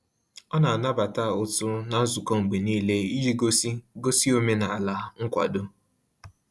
Ọ na-anabata ụtụ na nzukọ mgbe n'ile, iji gosi gosi omenala nkwado